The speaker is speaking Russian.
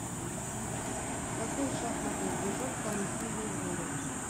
какой шахматный движок самый сильный в мире